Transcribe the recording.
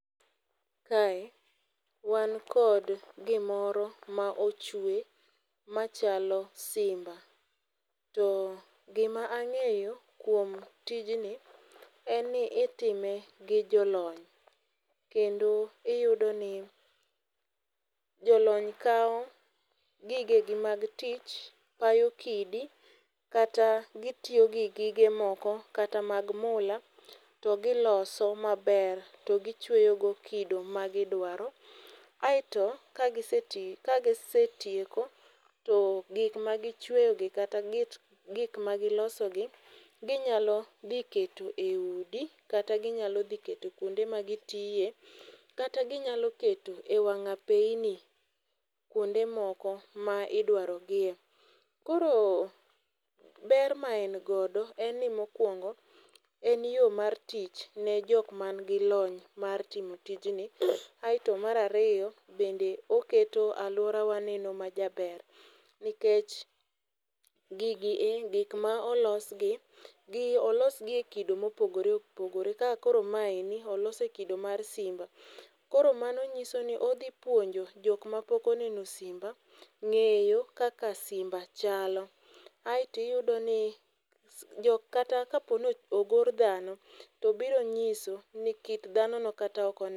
Kae wan kod gimoro ma ochwe machalo simba. To gima ang'eyo kuom tijni en ni itime gi jolony. Kendo iyudo ni jolony kawo gige gi mag tich, payo kidi kata gitiyo gi gige moko kata mag mola to giloso maber, to gichweyo go kido magidwaro. Aeto ka ka gisetieko, to gik magichweyo gi kata git gik magiloso gi ginyalo dhi keto e udi kata ginyalo dhi keto kuonde magitiye. Kata ginyalo keto e wang' apeyni, kuonde moko ma idwaro gie. Koro ber ma en godo en ni mokwongo en yo mar tich ne jok man gi lony mar timo tijni. Aeto mar ariyo bende oketo alworawa neno majaber. Nikech gigi e gik ma olosgi gi olosgi e kido ma opogore opogore. Kaka koro maendi, olose e kido mar simba. Koro mano nyiso ni odhi puonjo jok ma pok oneno simba ng'eyo kaka simba chalo. Aeto iyudo ni jo kata ka po ni ogor dhano to biro nyiso ni kit dhano no kata